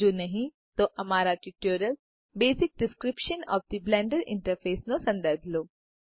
જો નહિ તો અમારા tutorial basic description of the Blender interface નો સંદર્ભ લો